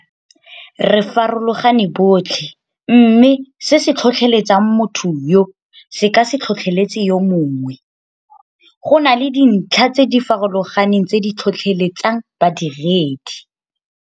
Re farologane botlhe mme se se tlhotlheletsang motho yo se ka se tlhotlheletse yo mongwe. Go na le dintlha tse di farologaneng tse di tlhotlheletsang badiredi.